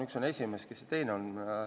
Üks on esimees, aga kes teine on?